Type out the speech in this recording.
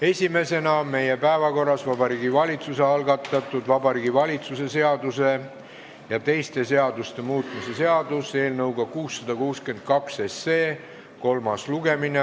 Esimesena on meie päevakorras Vabariigi Valitsuse algatatud Vabariigi Valitsuse seaduse ja teiste seaduste muutmise seaduse eelnõu 662 kolmas lugemine.